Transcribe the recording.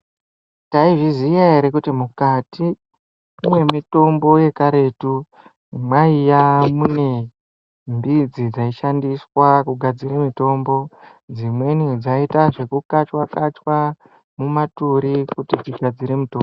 Tai zviziya ere kuti mukati mwe mitombo ye karetu maiya mune mbidzi dzai shandiswa ku gadzire mitombo dzimweni dzaita zveku kachwa kachwa mu maturi kuti tigadzire mitombo.